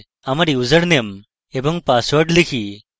আমার ইউসারনেম এবং পাসওয়ার্ড লেখা যাক